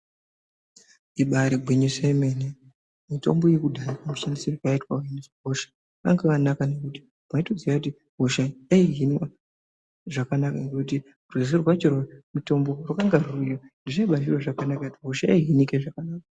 Ibaari gwinyiso yemene mitombo yekudhaya mashandirwo ayaiitwa kuhina hosha anga akanaka nekuti waitoziye kuti hosha yaihinwa zvakanaka ngekuti rwizi rwacho rwemitombo rwakanga rwuriyo zvichibaa zviro zvakanaka ngekuti hosha yaihinike zvakanaka.